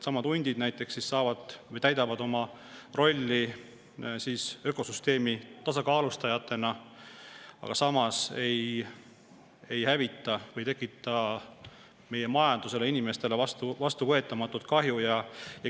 Hundid näiteks täidavad siis oma rolli ökosüsteemi tasakaalustajatena, aga samas ei hävita ega tekita meie majandusele ja inimestele vastuvõetamatut kahju.